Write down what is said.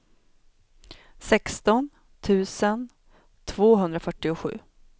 sexton tusen tvåhundrafyrtiosju